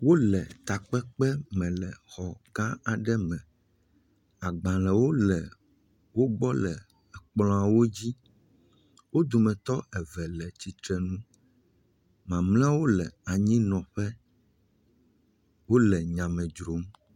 Wole takpekpe me le xɔ gã aɖe me, agbalẽwo le wo gbɔ le kplɔ̃awo dzi, odometɔ eve le tsitre nu, mamlɛawo le anyinɔƒe, wole nya me dzrom.